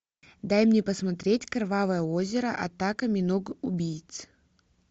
дай мне посмотреть кровавое озеро атака миног убийц